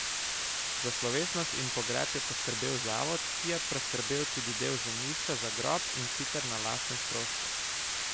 Za slovesnost in pogreb je poskrbel zavod, ki je preskrbel tudi del zemljišča za grob, in sicer na lastne stroške.